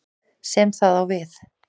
sem það á við.